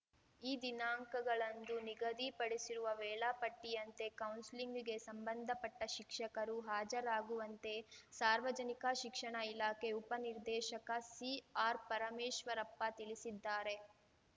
ಈ ದಿನಾಂಕಗಳಂದು ನಿಗದಿಪಡಿಸಿರುವ ವೇಳಾಪಟ್ಟಿಯಂತೆ ಕೌನ್ಸಿಲಿಂಗ್‌ಗೆ ಸಂಬಂಧಪಟ್ಟಶಿಕ್ಷಕರು ಹಾಜರಾಗುವಂತೆ ಸಾರ್ವಜನಿಕ ಶಿಕ್ಷಣ ಇಲಾಖೆ ಉಪ ನಿರ್ದೇಶಕ ಸಿಆರ್‌ಪರಮೇಶ್ವರಪ್ಪ ತಿಳಿಸಿದ್ದಾರೆ